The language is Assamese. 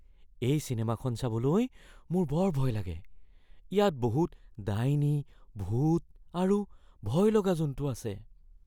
এই চিনেমাখন চাবলৈ মোৰ বৰ ভয় লাগে। ইয়াত বহুত ডাইনী, ভূত আৰু ভয়লগা জন্তু আছে।